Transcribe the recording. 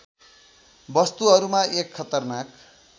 वस्तुहरूमा एक खतरनाक